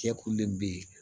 Cɛkulu de bɛ yen